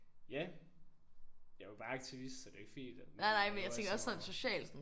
Ja. Jeg var bare aktivist så det er ikke fordi der laver sådan